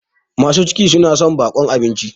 masu ciki suna son baƙon abinci